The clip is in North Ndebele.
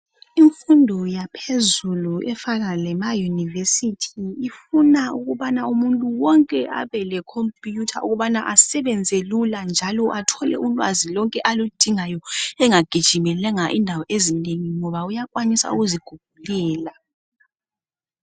Imfundo yaphezulu efana lemauniversity ifuna ukubana umuntu wonke abelekhompiyutha ukubana asebenze lula njalo athole ulwazi lonke aludingayo engagijimelanga indawo ezinengi ngoba uyakwanisa ukuzigugulela.